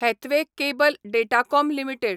Hathway cable datacom limited